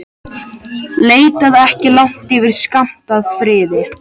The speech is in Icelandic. Leitaðu ekki langt yfir skammt að friði.